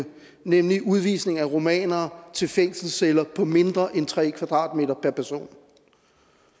nemlig udvisningen er rumænere til fængselsceller på mindre end tre m² per person